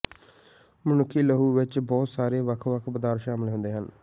ਮਨੁੱਖੀ ਲਹੂ ਵਿੱਚ ਬਹੁਤ ਸਾਰੇ ਵੱਖ ਵੱਖ ਪਦਾਰਥ ਸ਼ਾਮਲ ਹੁੰਦੇ ਹਨ